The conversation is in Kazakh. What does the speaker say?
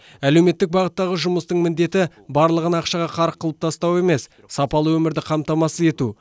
әлеуметтік бағыттағы жұмыстың міндеті барлығын ақшаға қарық қылып тастау емес сапалы өмірді қамтамасыз ету